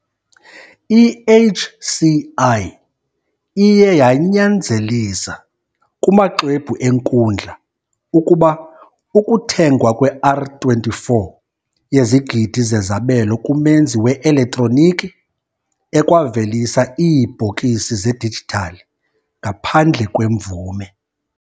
I-HCI iye yanyanzelisa, kumaxwebhu enkundla, ukuba ukuthengwa kwe-R24 yezigidi zezabelo kumenzi we-elektroniki, ekwavelisa iibhokisi zedijithali, ngaphandle kwemvume.